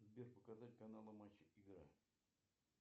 сбер показать каналы матч и игра